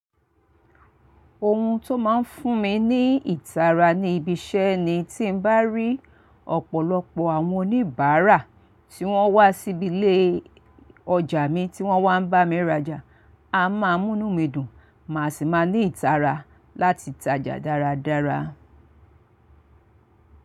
Ohun tó máa ń fún mi ní ìtara ni ibi iṣẹ́ ni tí n bá rí ọ̀pọ̀lọpọ̀ àwọn oníbàárà tí wọ́n wá síbi ilé ọjà mi tí wọ́n wá ń bá mi rajà. A máa mú inú mi dùn, màá sì máa ní ìtara láti tajà dáradára.